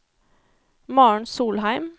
Maren Solheim